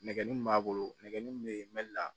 Nɛgɛ min b'a bolo nɛgɛ min bɛ yen